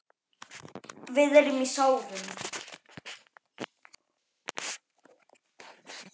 Við erum í sárum.